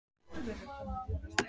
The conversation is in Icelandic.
Gufubaðið er ómissandi eftir æfingar